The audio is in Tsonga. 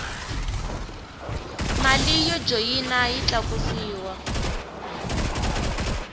mali yo joyina yi tlakusiwa